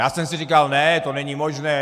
Já jsem si říkal ne, to není možné.